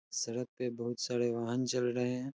सड़क बहोत सारे वाहन चल रहें हैं।